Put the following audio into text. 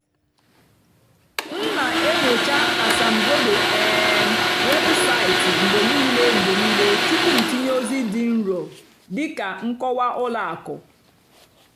m nà-ènyócha ásàmbódò um wébụ́saịtị́ mgbe níìlé mgbe níìlé túpú m tìnyé ózì dì nró dị́ kà nkọ́wá ùlọ àkụ́.